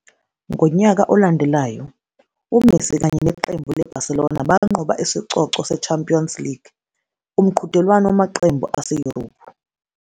Ngonyaka olandelayo, uMessi kanye neqembu leBarcelona banqoba isicoco seChampions League, umqhudelwano wamaqembu ase-Europe.